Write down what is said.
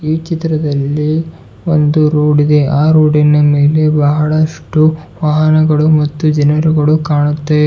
ಈ ಚಿತ್ರದಲ್ಲಿ ಒಂದು ರೋಡಿ ದೆ ರೋಡಿ ನ ಮೇಲೆ ಬಹಳಷ್ಟು ವಾಹನಗಳು ಮತ್ತು ಜನರುಗಳು ಕಾಣುತ್ತೆ.